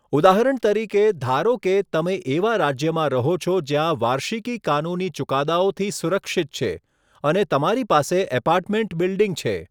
ઉદાહરણ તરીકે, ધારો કે તમે એવા રાજ્યમાં રહો છો જ્યાં વાર્ષિકી કાનૂની ચુકાદાઓથી સુરક્ષિત છે અને તમારી પાસે એપાર્ટમેન્ટ બિલ્ડિંગ છે.